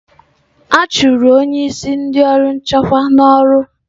A chụrụ onye isi ndị ọrụ nchekwa n'ọrụ?